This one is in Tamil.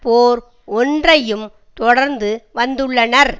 போர் ஒன்றையும் தொடர்ந்து வந்துள்ளனர்